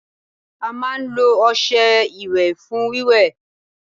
a máa n lo ọṣẹ iwe fún wíwẹ́